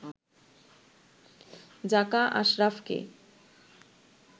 জাকা আশরাফকে